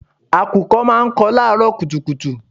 Àkùkọ máa ń kọ láàrọ́ kùtùkùtù.